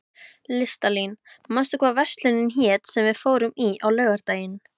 Listalín, manstu hvað verslunin hét sem við fórum í á laugardaginn?